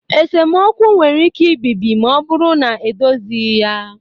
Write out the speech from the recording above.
Esemokwu nwere ike ibibi ma ọ bụrụ na edozighị ya